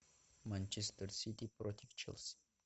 манчестер сити против челси